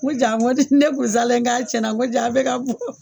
Ko jaa n ko ne kun saalen bɛ k'a cɛnna ko jaa a bɛ ka bɔ